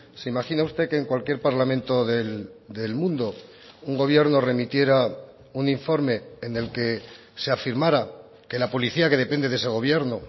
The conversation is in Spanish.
se imagina usted que en cualquier parlamento del mundo un gobierno remitiera un informe en el que se afirmara que la policía que depende de ese gobierno